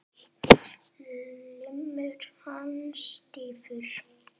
Limur hans stífur.